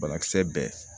Banakisɛ bɛɛ